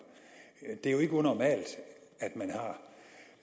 det er jo ikke unormalt